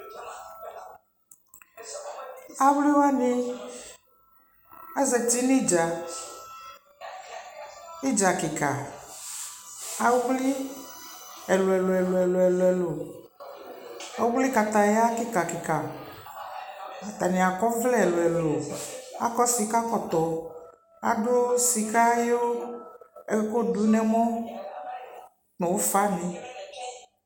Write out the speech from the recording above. awli wani azati nʋ itdza itdza kikaa, awli ɛlʋɛlʋ, ɔwlikataya kika kika, atani akɔ ɔvlɛ ɛlʋɛlʋ, akɔ sika kɔtɔ kʋadʋsika ɛkʋ dʋ nʋ ɛmɔ nʋʋƒa ni